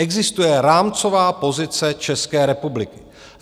Existuje rámcová pozice České republiky.